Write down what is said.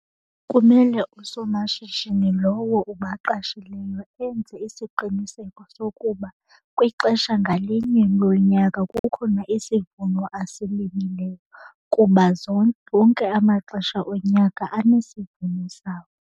Kumele usomashishini lowo ubaqashileyo enze isiqiniseko sokuba kwixesha ngalinye lonyaka kukhona isivuno asilimileyo kuba wonke amaxesha onyaka anesivuno sawo.